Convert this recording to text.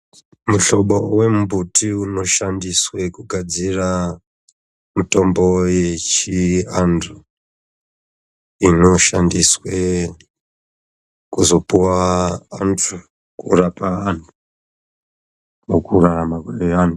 Mushobo wembuti unoshandiswe kugadzira mutombo wechiantu inoshandiswe kuzopuwa antu kurapa anhu mukurarama kweanhu.